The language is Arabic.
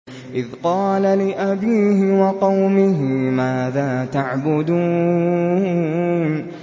إِذْ قَالَ لِأَبِيهِ وَقَوْمِهِ مَاذَا تَعْبُدُونَ